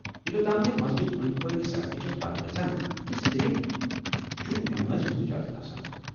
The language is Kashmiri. یوتتھ تام زِ مسجد أنٛدۍ پٔکۍ سڑکہٕ چھےٚ بنٛد گژھان تہٕ صِرف چُھ نمازِ ہُند اجازت آسان ۔